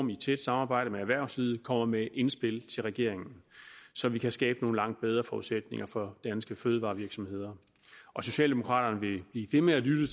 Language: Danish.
i et tæt samarbejde med erhvervslivet kommer med indspil til regeringen så vi kan skabe nogle langt bedre forudsætninger for danske fødevarevirksomheder socialdemokraterne vil blive ved med at lytte